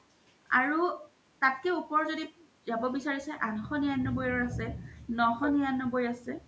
আৰু তাতকে ওপৰ জদি জাব বিচাৰিছে আঠশ নিৰান্নবৈৰও আছে নশ নিৰান্নবৈৰ আছে